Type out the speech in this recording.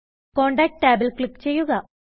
contact ടാബിൽ click ചെയ്യുക